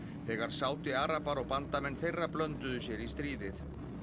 þegar Sádi arabar og bandamenn þeirra blönduðu sér í stríðið